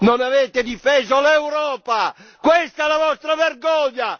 Non avete difeso l'Europa, questa è la vostra vergogna!